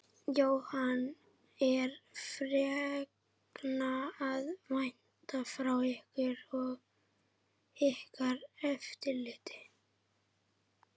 Jóhann: Er fregna að vænta frá ykkur og ykkar eftirliti?